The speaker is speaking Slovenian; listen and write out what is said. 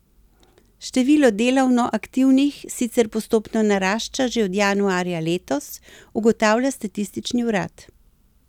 Število delovno aktivnih sicer postopno narašča že od januarja letos, ugotavlja statistični urad.